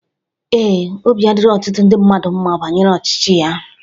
Ee, obi adirọ ọtụtụ ndị mmadu mma banyere ọchịchị ya.